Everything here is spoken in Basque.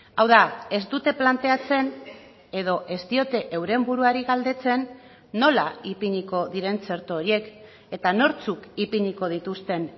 hau da ez dute planteatzen edo ez diote euren buruari galdetzen nola ipiniko diren txerto horiek eta nortzuk ipiniko dituzten